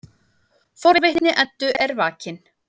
Forvitni Eddu er vakin.